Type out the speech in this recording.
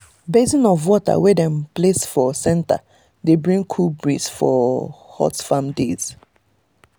basin of water wey dem place for center dey bring cool breeze for hot farm days.